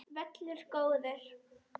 Völlur góður.